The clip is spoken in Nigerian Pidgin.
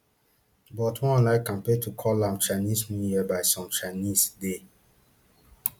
but one online campaign to call am chinese new year by some chinese dey